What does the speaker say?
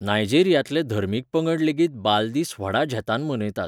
नायजेरियांतले धर्मीक पंगड लेगीत बाल दीस व्हडा झेतान मनयतात.